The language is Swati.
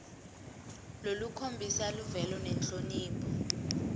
lolukhombisa luvelo nenhlonipho